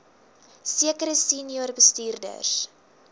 sekere senior bestuurders